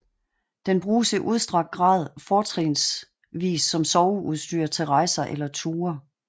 Den bruges i udstrakt grad fortrinsvis som soveudstyr til rejser eller ture